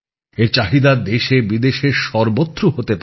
এর চাহিদা দেশে বিদেশে সর্বত্র হতে পারে